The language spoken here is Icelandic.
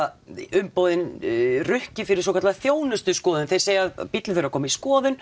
umboðin rukki fyrir svokallaða þjónustu skoðun þeir segja að bíllinn þurfi að koma í skoðun